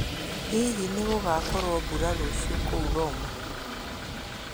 Hihi nĩ gũgakua mbura rũciũ kũu Roma?